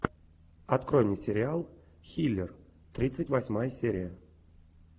открой мне сериал хилер тридцать восьмая серия